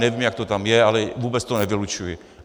Nevím, jak to tam je, ale vůbec to nevylučuji.